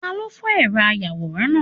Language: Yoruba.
Talo fó eró ayawóran náá?